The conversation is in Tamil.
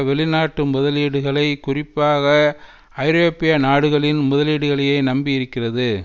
வெளிநாட்டு முதலீடுகளை குறிப்பாக ஐரோப்பிய நாடுகளின் முதலீடுகளையே நம்பி இருக்கிறது